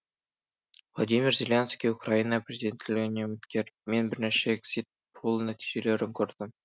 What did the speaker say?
владимир зеленский украина президенттігіне үміткер мен бірнеше экзит пол нәтижелерін көрдім